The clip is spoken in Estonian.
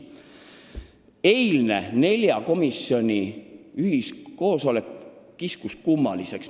Eilne nelja komisjoni ühisistung kiskus kummaliseks.